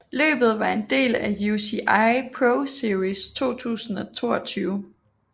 Løbet var en del af UCI ProSeries 2022